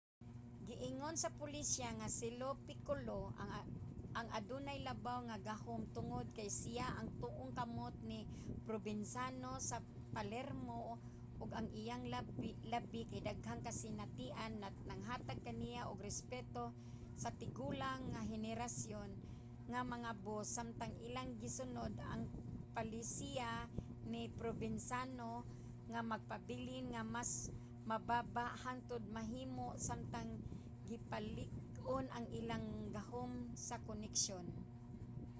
giingon sa pulisya nga si lo piccolo ang adunay labaw nga gahum tungod kay siya ang tuong kamot ni provenzano sa palermo ug ang iyang labi ka daghang kasinatian naghatag kaniya og respeto sa tigulang nga henerasyon nga mga boss samtang ilang gisunod ang palisiya ni provenzano nga magpabilin nga mas mababa hangtod mahimo samtang gipalig-on ang ilang gahom sa koneksyon